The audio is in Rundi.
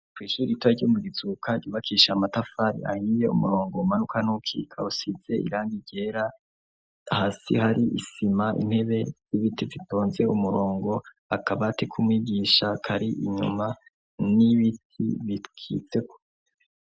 Kwishur ita ryo mu gizuka yubakisha amatafari ayiye umurongo wumanuka n'ukika usize iranga ryera hasi hari isima intebe y'ibiti vitonze umurongo akabatikumwigisha kari inyuma n'ibiti bitwizeko.